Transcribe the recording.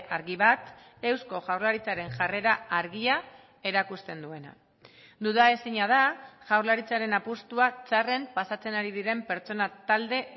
argi bat eusko jaurlaritzaren jarrera argia erakusten duena duda ezina da jaurlaritzaren apustua txarren pasatzen ari diren pertsona talde